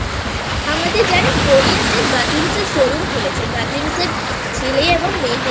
আমাদের জানিস গড়িয়াতে GatimsএরShowroomখুলেছে Gatims এর ছেলে এবং মেয়েদের